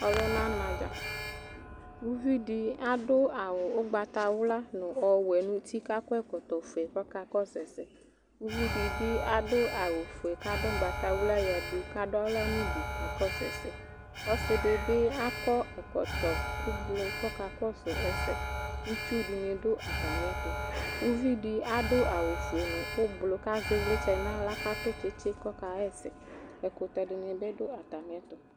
Ɔluna na dza Uvi di adu awu ugbatawla nu ɔwɛ nu uti ku akɔ ɛkɔtɔ ɔfue ku ɔkakɔsu ɛsɛ Uvi di bi adu awu fue ku adu ugbatawla yadu ku adu aɣla nu udu ku ɔkakɔsu ɛsɛ Ɔsi di bi akɔ ɛkɔtɔ ublɔ ku ɔkakɔsu ɛsɛ Itsu dini du atami ɛtu Uvidi adu awu fue nu ublɔ ku azɛ ivlitsɛ nu aɣla ku adu tsitsi ku ɔkaɣa ɛsɛ Ɛkutɛ dini bi du atami ɛtu